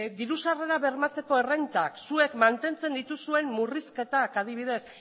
diru sarrerak bermatzeko errentak zuek mantentzen dituzuen murrizketak adibidez